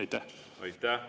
Aitäh!